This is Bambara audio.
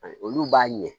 Olu b'a ɲɛ